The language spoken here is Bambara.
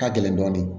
Ka gɛlɛn dɔɔnin